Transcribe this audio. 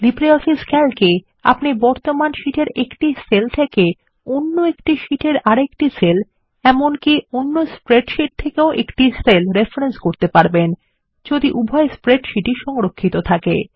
LibreOffice Calc এ আপনি বর্তমান শীট এর একটি সেল থেকে অন্য একটি শীট এর আরেকটি সেল এমনকি অন্য স্প্রেডশীট থেকেও একটি সেল রেফরেন্স করতে পারবেন যদি উভই স্প্রেডশীটই সংরক্ষিত থাকে